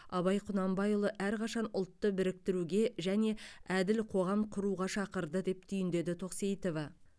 абай құнанбайұлы әрқашан ұлтты біріктіруге және әділ қоғам құруға шақырды деп түйіндеді тоқсейітова